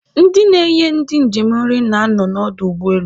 Ndị na-enye ndị njem nri na-anọ n'ọdụ ụgbọelu